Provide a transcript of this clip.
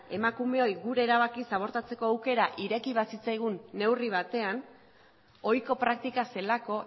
emakumeoi gure erabakiz abortatzeko aukera ireki bazitzaigun neurri batean ohiko praktika zelako